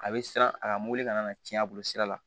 A bɛ siran a ka mobili kana na cɛn a bolo sira la